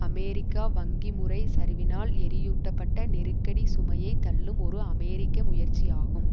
அமெரிக்க வங்கி முறை சரிவினால் எரியூட்டப்பட்ட நெருக்கடிச் சுமையை தள்ளும் ஒரு அமெரிக்க முயற்சியாகும்